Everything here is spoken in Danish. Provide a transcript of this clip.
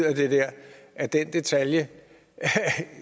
af den der detalje